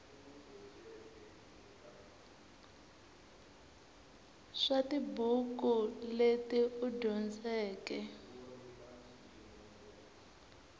swa tibuku leti u dyondzeke